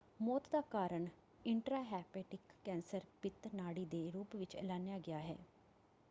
ਮੌਤ ਦਾ ਕਾਰਨ ਇੰਟ੍ਰਾਂਹੇਪੇਟਿਕ ਕੈਂਸਰ ਪਿਤ ਨਾੜੀ ਦੇ ਰੂਪ ਵਿੱਚ ਐਲਾਨਿਆ ਗਿਆ ਹੈ।